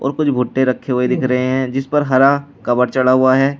और कुछ भुट्टे रखे हुए दिख रहे हैं जिस पर हरा कवर चढ़ा हुआ है।